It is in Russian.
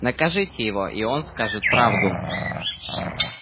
накажите его и он скажет правду